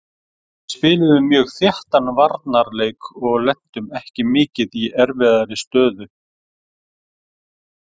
Við spiluðum mjög þéttan varnarleik og lentum ekki mikið í erfiðri aðstöðu.